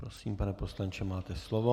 Prosím, pane poslanče, máte slovo.